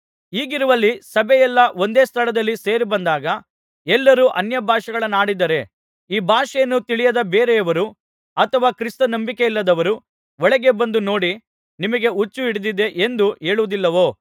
ಹೀಗಿರುವಲ್ಲಿ ಸಭೆಯೆಲ್ಲಾ ಒಂದೇ ಸ್ಥಳದಲ್ಲಿ ಸೇರಿಬಂದಾಗ ಎಲ್ಲರೂ ಅನ್ಯಭಾಷೆಗಳನ್ನಾಡಿದರೆ ಈ ಭಾಷೆಯನ್ನು ತಿಳಿಯದ ಬೇರೆಯವರು ಅಥವಾ ಕ್ರಿಸ್ತ ನಂಬಿಕೆಯಿಲ್ಲದವರು ಒಳಗೆ ಬಂದು ನೋಡಿ ನಿಮಗೆ ಹುಚ್ಚು ಹಿಡಿದಿದೆ ಎಂದು ಹೇಳುವುದಿಲ್ಲವೋ